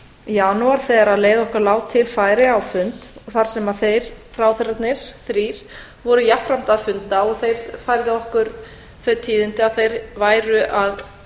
janúar þegar leið okkar lá til færeyja á fund þar sem þeir ráðherrarnir þrír voru jafnframt að funda og þeir færðu okkur þau tíðindi að þeir væru að